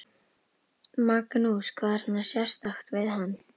Magnús: Hvað er svona sérstakt við hann?